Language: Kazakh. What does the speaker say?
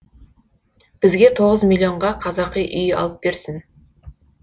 бізге тоғыз миллонға қазақи үй алып берсін